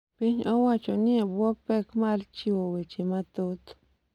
piny owacho ni e bwo pek mar chiwo weche mathoth.